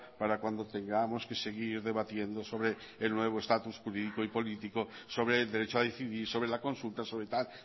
para cuando tengamos que seguir debatiendo sobre el nuevo estatus jurídico y político sobre el derecho a decidir sobre la consulta sobre tal